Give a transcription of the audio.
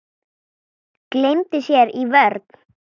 Gleymdi sér í vörn.